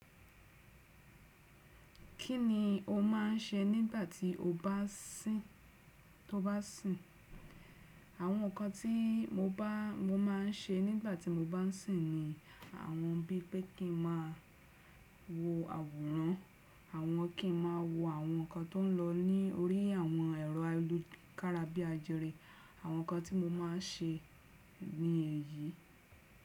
Kí ni o máà ń ṣe nígbà tí o bá n sìn? Àwọn ǹkan tí mo ba mo máa ń ṣe nígbà tí mo bá sìn ni àwọn bí pé kí n máa wo àwòrán, àwọn kí n máa wo àwọn ǹkan tó ń lọ ní orí àwọn ẹ̀rọ ayélujára bí ajere. Àwọn ǹkan tí mo máa ń ṣe ni èyí.